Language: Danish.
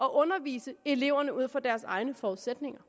at undervise eleverne ud fra deres egne forudsætninger